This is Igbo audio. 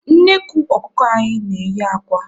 Nnekwu ọkụkọ anyị na-eyi akwa